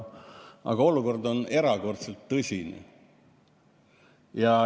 Aga olukord on erakordselt tõsine.